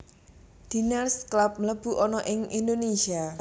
Diners Club mlebu ana ing Indonesia